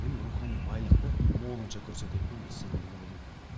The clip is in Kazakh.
яғни рухани байлықты молынша көрсете білген бұл сценарий деп ойлаймын